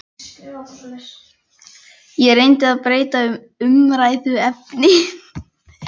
Ég reyndi að breyta um umræðuefni.